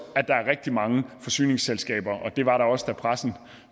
er rigtig mange forsyningsselskaber og det var der også da pressen